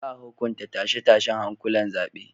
Za a hukunta tashe-tashen hankulan zaben.